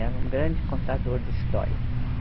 Era um grande contador de histórias.